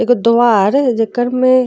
एगो द्वार जेकर में --